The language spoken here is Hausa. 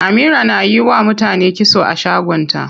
Amira na yiwa mutane kitso a shagon ta.